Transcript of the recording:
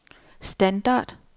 standard